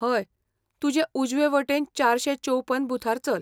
हय, तुजे उजवेवटेन चारशे चौपन बुथार चल.